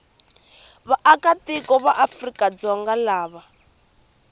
vaakatiko va afrika dzonga lava